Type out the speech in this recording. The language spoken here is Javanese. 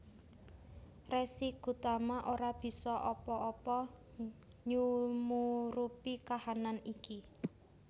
Resi Gotama ora bisa apa apa nyumurupi kahanan iki